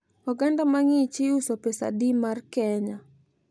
oganda mang'ich iuso pesadi mar kenya?